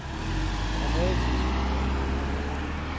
dramatiske